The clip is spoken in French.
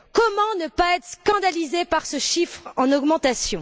Comment ne pas être scandalisé par ce chiffre en augmentation?